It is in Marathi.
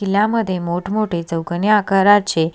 किल्ल्यामध्ये मोठ मोठे चौकोनी आकाराचे--